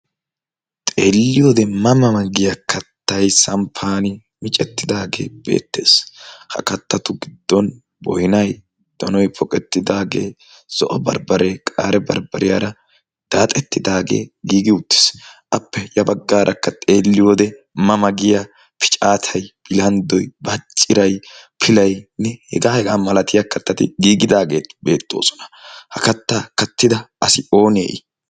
Xeelliyode ma ma giya kattay sanppan micettidaagee beettees. Ha kattatu giddon boynay, donoy poqettidaagee, zo'o bambbaree qaare bambbariyara daaxettidaagee giigi uttiis. Appe ya baggaarakka ma ma giya picaatay, lanxxoy baacciray, pilaynne hegaa hegaa malatiya kattati giigidaageeti beettoosona. Ha kattaa kattida asi oonee I?